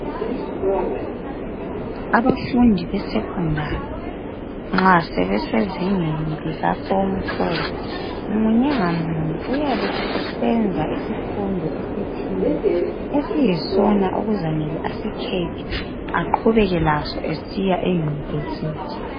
Abafundi besecondary, nxa sebesezingeni lika form 4, munye ngamunye uyabe esesenza isifundo esithile esiyisona okuzamele asikhethe, aqhubeke laso esiya eUniversity.